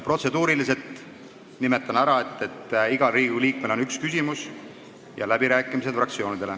Protseduuri kohta nimetan ära, et igal Riigikogu liikmel on üks küsimus ja läbirääkimistel osalevad fraktsioonid.